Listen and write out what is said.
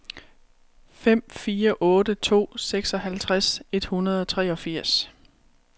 fem fire otte to seksoghalvtreds et hundrede og treogfirs